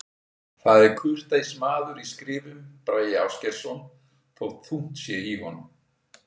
Það er kurteis maður í skrifum, Bragi Ásgeirsson, þótt þungt sé í honum.